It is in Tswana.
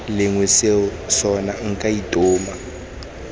lengwe seo sona nka itoma